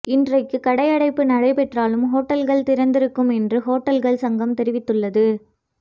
இன்றைக்கு கடையடைப்பு நடைபெற்றாலும் ஹோட்டல்கள் திறந்திருக்கும் என்றும் ஓட்டல்கள் சங்கம் தெரிவித்துள்ளது